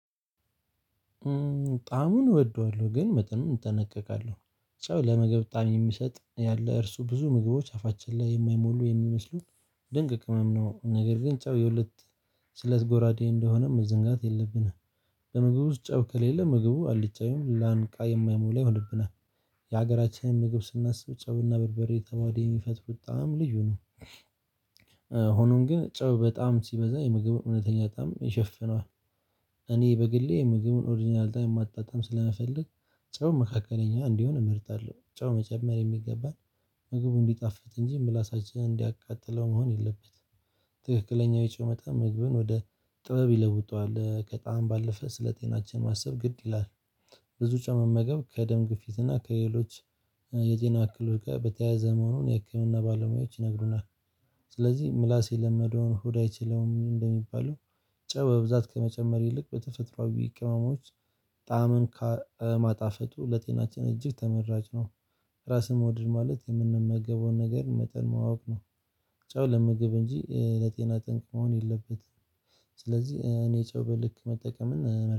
ጣሙን እወደዋለሁ ግን መጠኑን እጠነቀቃለሁ። ጨው ለምግብ ጣም የሚሰጥ ያለ እርሱ ብዙ ምግቦች አፋችን ላይ የማይሞሉ የሚመስሉ ድንቅ ቅመም ነው፤ ነገር ግን ጫው የሁለት ስለት ጎራዴ እንደሆነም መዘንጋት የለብንም። በምግብ ውስጥ ጨው ከሌለ ምግቡ አልጫ ይሁን ላንቃ የማይሞላ ይሆንብናል። የሀገራችን ምግብ ስናስብ ጨውና በርበሬ ተዋህደው የሚፈጥሩት ጣዕም ልዩ ነው፤ ሆኖም ግን ጨው በጣም ሲበዛ የምግብ እውነተኛ ጣዕም ይሸፍነዋል። እኔ በግሌ የምግብን ኦሪጅናል ጣዕም ማጣጣም ስለምፈልግ ጨው መካከለኛ እንዲሆን እመርጣለሁ። ጨው መጨመር የሚገባን ምግቡ እንዲጣፍጥ እንጂ ምላሳችን እንዲያቃጥለው መሆን የለበትም ትክክለኛው የጨው መጠን ምግብን ወደ ጥበብ ይለውጣል ከጣም ባለፈ ስለጤናችን ማሰብ ግድ ይላል። ብዙ ጨው መመገብ ከደም ግፊትና እና ከሌሎች የጤና እክሎች ጋር በተያያዘ መሆኑን የህክምና ባለሙያዎች ይነግሩናል። ስለዚህ ምላስ የለመደውን ሆድ አይችለውም እንደሚባለው ጨው በብዛት ከመጨመር ይልቅ በተፈጥሮአዊ ቅመሞች ጣዕምን ከማጣፈጡ ለጤናችን እጅግ ተመራጭ ነው። ራስን መውደድ ማለት የምንመገበውን ነገር መጠን ማወቅ ነው። ጨው ለምግብ እንጂ ለጤና ጠንቅ መሆን የለበትም። ስለዚህ እኔ ጨው በልክ መጠቀምን እመርጣለሁ።